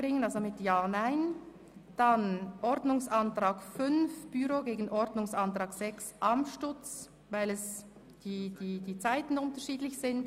Den Antrag 5 stellen wir dem Antrag 6 gegenüber, weil die Zeiten unterschiedlich sind.